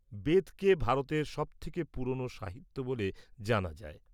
-বেদকে ভারতের সবথেকে পুরনো সাহিত্য বলে জানা যায়।